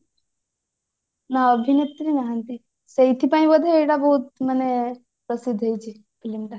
ନା ଅଭିନେତ୍ରୀ ନାହାନ୍ତି ସେଇଥି ପାଇଁ ବୋଧେ ଏଟା ବହୁତ ମାନେ ପ୍ରସିଦ୍ଧ ହେଇଛି film ଟା